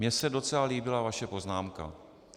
Mně se docela líbila vaše poznámka.